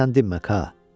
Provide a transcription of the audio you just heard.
Sən dinmə, Ka.